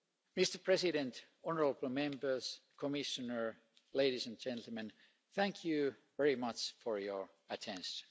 time. Mr President, honourable Members, Commissioner, ladies and gentlemen, thank you very much for your attention.